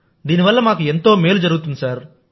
దీని వల్ల మాకు ఎంతో మేలు జరుగుతుంది